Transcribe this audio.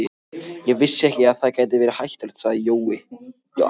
Ég vissi ekki að það gæti verið hættulegt, sagði Jói.